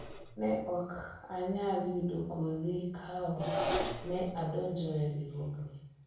ne ok anyal yudo kodhi ka ok ne adonjoe riwruogni